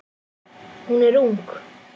Hún er ung.